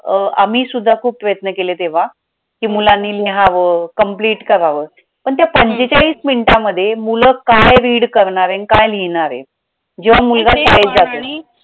अं आम्ही सुद्धा खूप प्रयत्न केले तेव्हा कि मुलांनी लिहावं complete करावं पण त्या पंचेचाळीस minutes मध्ये मुलं काय read करणार आणि काय लिहिणारे जेव्हा मुलगा